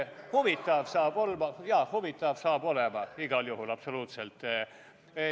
Huvitav saab olema ja huvitav saab olema igal juhul, absoluutselt.